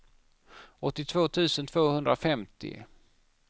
åttiotvå tusen tvåhundrafemtio